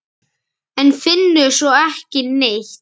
En finnur svo ekki neitt.